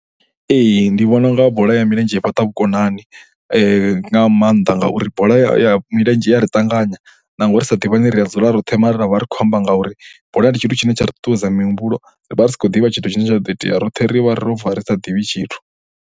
Ee, ndi vhona u nga bola ya milenzhe i fhaṱa vhukonani nga maanḓa ngauri bola ya milenzhe i ya ri ṱanganya nangwe ri sa ḓivhani ri a dzula roṱhe mara ra vha ri khou amba ngauri bola ndi tshithu tshine tsha ri ṱuṱuwedza mihumbulo ri vha ri sa khou ḓivha tshithu tshine tsha ḓo itea, roṱhe ri vha ro bva ri sa ḓivhi tshithu.